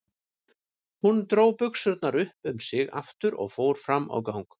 Hún dró buxurnar upp um sig aftur og fór fram á gang.